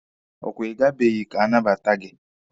Ọ kwa Ị gabeghi ka a nabata gị?